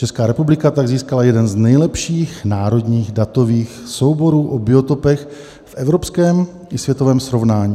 Česká republika tak získala jeden z nejlepších národních datových souborů o biotopech v evropském i světovém srovnání.